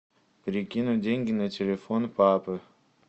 перекинуть деньги на телефон папы